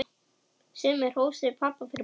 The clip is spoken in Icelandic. Sumir hrósuðu pabba fyrir bókina.